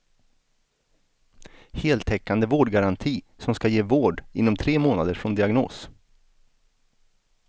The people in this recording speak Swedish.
Heltäckande vårdgaranti som ska ge vård inom tre månader från diagnos.